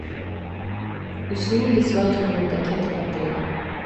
услуги свадебного пакета в отеле